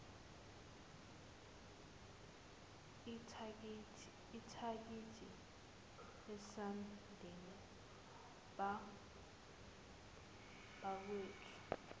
ithikithi esandleni bakwethu